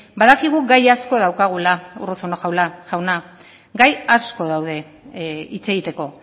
badakigu gai asko daukagula urruzuno jauna gai asko daude hitz egiteko